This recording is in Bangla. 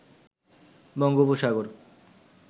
বঙ্গোপসাগর